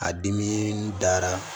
A dimi dara